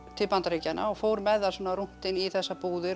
til Bandaríkjanna og fór með þær svona rúntinn í þessar búðir